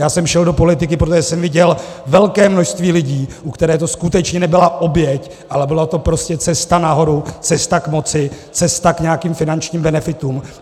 Já jsem šel do politiky, protože jsem viděl velké množství lidí, u kterých to skutečně nebyla oběť, ale byla to prostě cesta nahoru, cesta k moci, cesta k nějakým finančním benefitům.